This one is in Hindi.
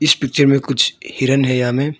इस पिक्चर में कुछ हिरन है यहां में।